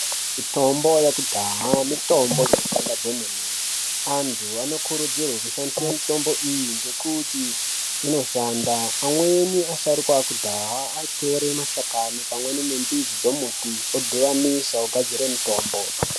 Mitombo yekudhaya mitombo inoshanda kwemene. Antu anokurudzirwe kushandise mitombo iyi ngekuti inoshanda. Amweni asharukwa ekudhaa aitore mashakani pamweni nembidzi dzomuti odhuvanisa ogadzire mitombo.